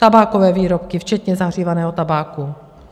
Tabákové výrobky včetně zahřívaného tabáku.